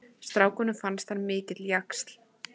Strákunum fannst hann mikill jaxl.